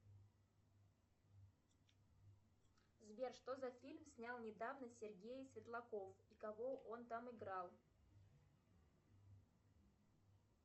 сбер что за фильм снял недавно сергей светлаков и кого он там играл